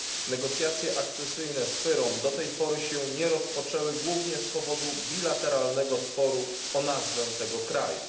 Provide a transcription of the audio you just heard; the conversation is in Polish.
Negocjacje akcesyjne z FYROM do tej pory się nie rozpoczęły głównie z powodu bilateralnego sporu o nazwę tego kraju.